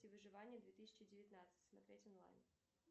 выживания две тысячи девятнадцать смотреть онлайн